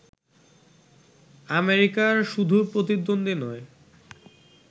আমেরিকার শুধু প্রতিদ্বন্দ্বী নয়